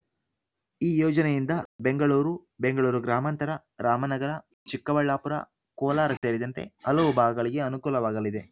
ಈ ಯೋಜನೆಯಿಂದ ಬೆಂಗಳೂರು ಬೆಂಗಳೂರು ಗ್ರಾಮಾಂತರ ರಾಮನಗರ ಚಿಕ್ಕಬಳ್ಳಾಪುರ ಕೋಲಾರ ಸೇರಿದಂತೆ ಹಲವು ಭಾಗಗಳಿಗೆ ಅನುಕೂಲವಾಗಲಿದೆ